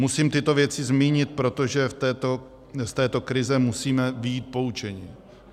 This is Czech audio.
Musím tyto věci zmínit, protože z této krize musíme vyjít poučeni.